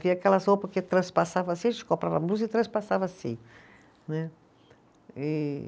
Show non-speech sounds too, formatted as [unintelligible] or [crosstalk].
[unintelligible] aquelas roupas que transpassava assim, a gente comprava a blusa e transpassava assim, né? E